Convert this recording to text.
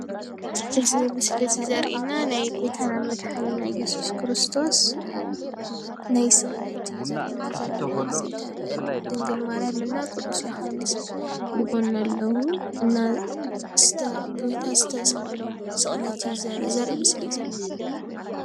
እዚ ምስሊ እዚ ዘሪኤና ናይ ጎይታና መድሓኒትናን እየሱስ ክርስቶስ ናይ ስቕለት እዩ ዘሪኤና ዘሎ ድንግል ማርያምን ቅዱስ ዮሃንስ ብጎኑ ኣለው፡፡ እና ጌታ ዝተቐተሰሎ ስቕለት እዩ ዘሪኢ ምስሊ ዘሎ፡፡